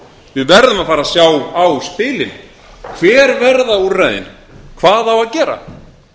við verðum að fara að sjá á spilin hver verða úrræðin hvað á að gera